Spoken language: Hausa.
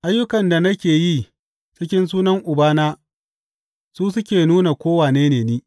Ayyukan da nake yi cikin sunan Ubana su suke nuna ko wane ne ni.